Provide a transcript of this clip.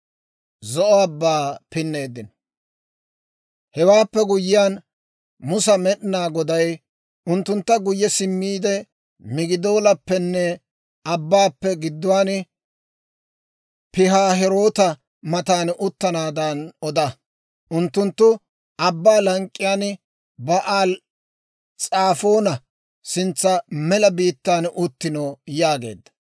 Hewaappe guyyiyaan Musa Med'inaa Goday; «Unttunttu guyye simmiide Migidoolappenne abbaappe gidduwaan, Pihaahiroota matan uttanaadan oda; unttunttu abbaa lank'k'iyaan Ba'aali-S'afoona sintsa mela biittaan uttino yaageedda.